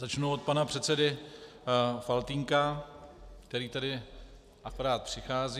Začnu od pana předsedy Faltýnka, který sem akorát přichází.